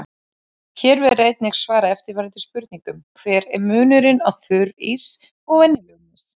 Hér verður einnig svarað eftirfarandi spurningum: Hver er munurinn á þurrís og venjulegum ís?